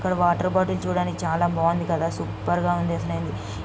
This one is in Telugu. ఇక్కడ వాటర్ బాటిల్ చూడ్డానికి చాలా బాగుంది కదా సూపర్ గా ఉంది.